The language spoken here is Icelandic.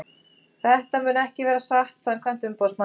Þetta mun ekki vera satt samkvæmt umboðsmanninum.